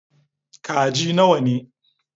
Kaji nawa ne?